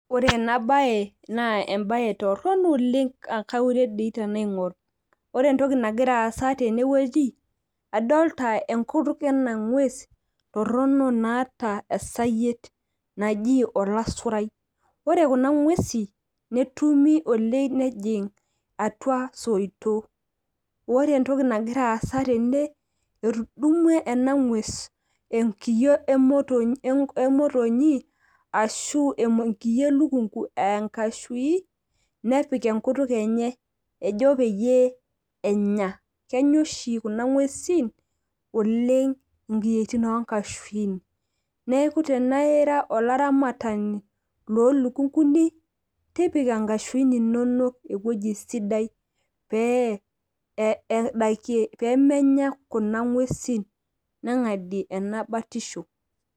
ore ena bae naa ebae torono oleng, kaure dei tenaingor. ore entoki nagira aasa tene wueji, adolta enkutuk ena ngues torono naata esayiet, naji olasurai. ore kuna nguesi, netumi oleng nejing' atua soitok. ore entoki naira aasa tene etudumua ena ngues enkiyio emotonyi, ashu enkiyio elukunku aa enkashui, nepik enkutuk enye ejo peyie enya. kenya oshi kuna nguesi oleng nkiyietin oo nkashuin. neeku tenaa ira olaramatani loo lukukuni, tipika nkashuin inonok ewueji sidai. pee eidakie pee menya kuna nguesin nengadie ena batisho.